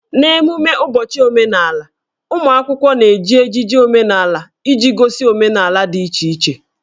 N'ememme ụbọchị omenala, ụmụ akwụkwọ na-eji ejiji omenala iji gosi omenala dị iche iche